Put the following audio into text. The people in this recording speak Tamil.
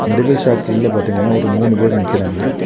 மெடிக்கல் ஷாப் உள்ள பாத்தீங்கன்னா ஒரு மூணு பேர் நிக்கிறாங்க.